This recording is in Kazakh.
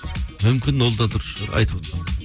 мүмкін ол да дұрыс шығар айтып